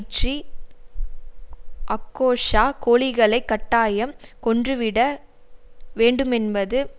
tree அக்கோசா கோழிகளைக் கட்டாயம் கொன்று விட வேண்டுமென்பது